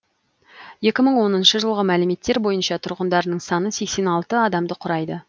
екі мың оныншы жылғы мәліметтер бойынша тұрғындарының саны сексен алты адамды құрайды